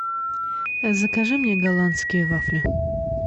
закажи мне голландские вафли